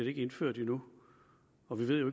er indført endnu og vi ved jo